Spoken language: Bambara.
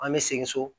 An bɛ segin so